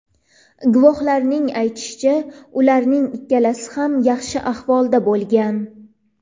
Guvohlarning aytishicha, ularning ikkalasi ham yaxshi ahvolda bo‘lgan.